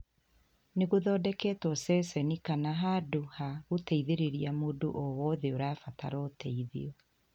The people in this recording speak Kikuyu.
Nĩ gũthondeketwo ceceni kana handũ ha gũteithĩrĩria mũndũ o wothe ũrabatara ũteithio.